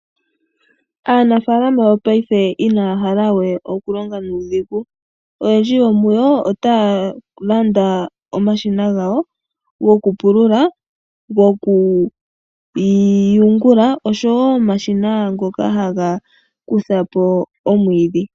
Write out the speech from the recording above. Aanafalama yo paife inaya halawe okulonga nuudhigu, oyendji yomuyo otaalanda omashina gawo goku pulula , goku yungula oshowo omashina ngoka haga kuthapo omwiidhi.